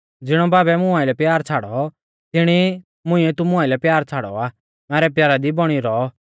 ज़िणौ बाबै मुं आइलै प्यार छ़ाड़ौ तिणी ई मुंइऐ तुमु आइलै प्यार छ़ाड़ौ आ मैरै प्यारा दी बौणी रौ